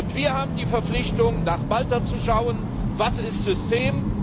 Und wir haben die Verpflichtung, nach Malta zu schauen Was ist System?